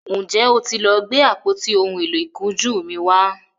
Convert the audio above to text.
njé o tí lọ Gbe àpótí òún èló ìkunjú mí wá?